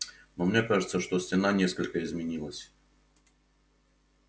но мне кажется что стена несколько изменилась